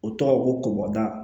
O tɔgɔ ko bɔta